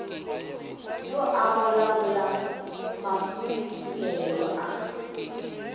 o a golagola mafufulelo a